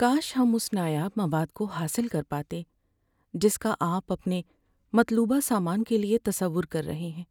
کاش ہم اس نایاب مواد کو حاصل کر پاتے جس کا آپ اپنے مطلوبہ سامان کے لیے تصور کر رہے ہیں،